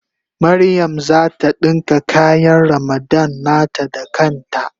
Mariam zata dinka kayan Ramadan nata da kan ta.